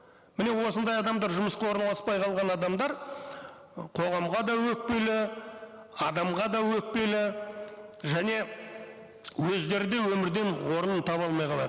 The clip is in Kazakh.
міне осындай адамдар жұмысқа орналаспай қалған адамдар ы қоғамға да өкпелі адамға да өкпелі және өздері де өмірден орнын таба алмай қалады